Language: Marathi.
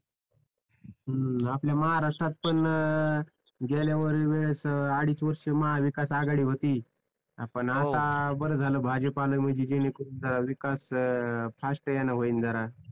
हम्म आपल्या महाराष्ट्रात पण गेल्यावेळेस अडीच वर्ष महाविकास आघाडी होती पण आता बार झालं आता भाजप आलाय म्हंजी जेणेकरून जरा विकास आता फास्ट यान होईल जरा